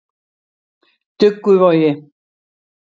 Dugguvogi